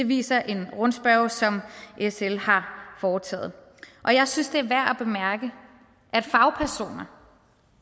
viser en rundspørge som sl har foretaget jeg synes det er værd at bemærke at fagpersoner